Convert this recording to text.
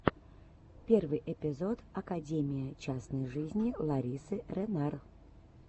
первый эпизод академия частной жизни ларисы ренар